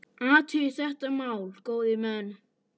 Athugið þetta mál, góðir menn!